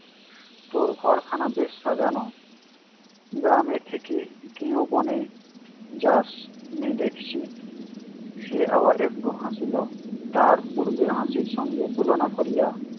তোর ঘরখানা বেশ সাজানো। গ্রামের থেকে ঘিন বনে যাস নি দেখছি! সে আবার একটু হাসিল, তাহার পূর্বের হাসির সঙ্গে তুলনা করিয়া